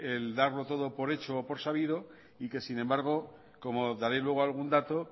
el darlo todo por hecho o por sabido y que sin embargo como daré luego algún dato